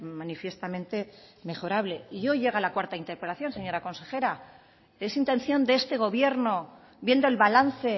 manifiestamente mejorable y hoy llega la cuarta interpelación señora consejera es intención de este gobierno viendo el balance